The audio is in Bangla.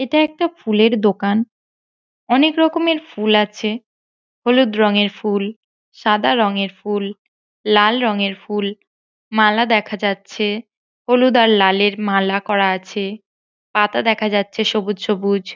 এটা একটা ফুলের দোকান । অনেক রকমের ফুল আছে । হলুদ রংয়ের ফুল সাদা রংয়ের ফুল লাল রংয়ের ফুল । মালা দেখা যাচ্ছে ।হলুদ আর লালের মালা করা আছে । পাতা দেখা যাচ্ছে সবুজ সবুজ ।